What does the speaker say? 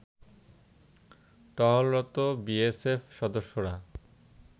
টহলরত BSF সদস্যরা